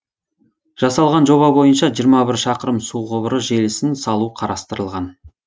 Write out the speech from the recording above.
жасалған жоба бойынша жиырма бір шақырым су құбыры желісін салу қарастырылған